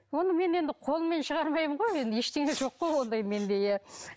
оны мен енді қолыммен шығармаймын ғой енді ештеңе жоқ қой ондай менде иә